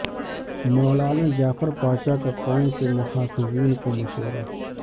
مولانا جعفر پاشاہ کا قوم کے محافظین کو مشورہ